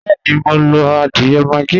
Bẹẹ́ni, mo ń lo adiẹ́ maggi